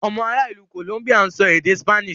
Ọmọ ará ìlú Columbia ń sọ èdè Spanish.